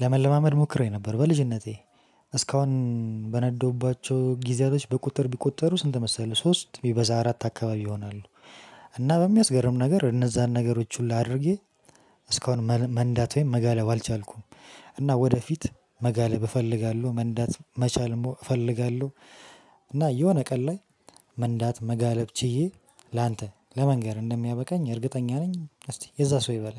ለመለማመድ ሞክሬ ነበር በልጅነቴ እስካሁን በነዳሁባቸው ጊዜያቶች በቁጥር ቢቆጠሩ ስንት መሰለህ ሶስት ቢበዛ አራት አካባቢ ይሆናሉ። እና በሚያስገርም ነገር እነዛን ነገሮች ሁሉ አድርጌ እስካሁን መንዳት ወይም መጋለብ አልቻልኩም። እና ወደፊት መጋለብ እፈልጋለሁ መንዳት መቻል ሞ እፈልጋለሁ። እና የሆነ ቀን ላይ መንዳት መጋለብ ችዬ ላንተ ለመንገር እንደሚያበቃኝ እርግጠኛ ነኝ። እስቲ የዛ ሰው ይበለን